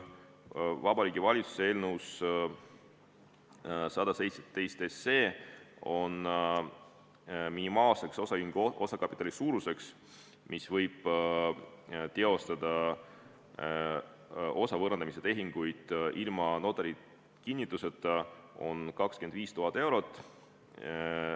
Vabariigi Valitsuse eelnõus 117 on minimaalseks osaühingu osakapitali suuruseks, mille puhul võib teostada osa võõrandamise tehinguid ilma notari kinnituseta, 25 000 eurot.